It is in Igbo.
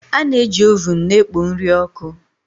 A na-eji ovuun na-ekpo nri ọkụ